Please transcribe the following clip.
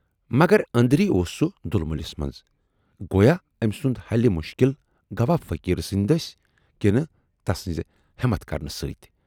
مگر ٲندری اوس سُہ دُلمِلس منز گویا ٲمۍ سُند حلہِ مُشکِل گوا فقیٖر سٕندِ دٔسۍ کِنہٕ تسٕنز ہٮ۪متھ کرنہٕ سۭتۍ۔